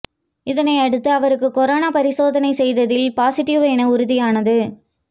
இதனை அடுத்து அவருக்கு கொரோனா பரிசோதனை செய்ததில் பாசிட்டிவ் என உறுதியானது